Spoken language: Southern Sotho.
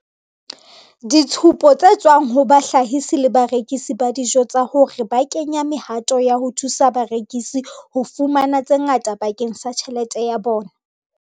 ditshupo tse tswang ho bahlahisi le barekisi ba dijo tsa hore ba kenya mehato ya ho thusa barekisi ho fumana tse ngata bakeng sa tjhelete ya bona.